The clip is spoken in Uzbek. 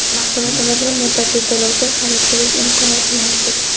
Mahsulotlarimizni muddatli to‘lovga xarid qilish imkoniyati mavjud.